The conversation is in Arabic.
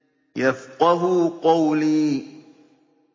يَفْقَهُوا قَوْلِي